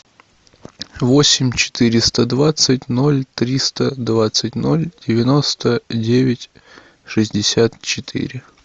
восемь четыреста двадцать ноль триста двадцать ноль девяносто девять шестьдесят четыре